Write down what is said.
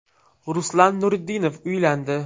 Ruslan Nurudinov uylandi.